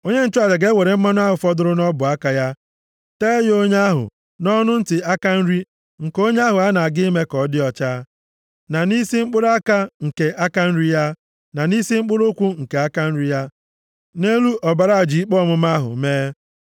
Onye nchụaja ga-ewere mmanụ ahụ fọdụrụ nʼọbụaka ya tee ya onye ahụ nʼọnụ ntị aka nri nke onye ahụ a na-aga ime ka ọ dị ọcha, na nʼisi mkpụrụ aka nke aka nri ya, na nʼisi mkpụrụ ụkwụ nke aka nri ya, nʼelu ọbara aja ikpe ọmụma ahụ mee.